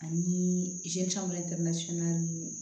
Ani ninnu